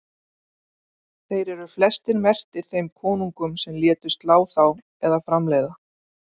þeir eru flestir merktir þeim konungum sem létu slá þá eða framleiða